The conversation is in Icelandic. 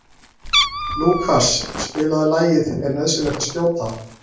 Lúkas, spilaðu lagið „Er nauðsynlegt að skjóta“.